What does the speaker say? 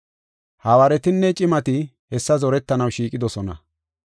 Hawaaretinne cimati hessa zorettanaw shiiqidosona.